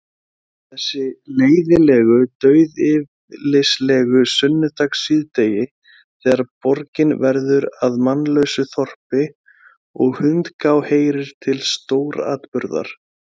Þessi leiðinlegu dauðyflislegu sunnudagssíðdegi, þegar borgin verður að mannlausu þorpi, og hundgá heyrir til stóratburða.